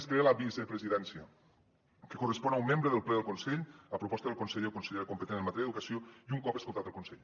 es crea la vicepresidència que correspon a un membre del ple del consell a proposta del conseller o consellera competent en matèria d’educació i un cop escoltat el consell